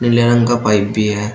नीले रंग का पाइप भी है।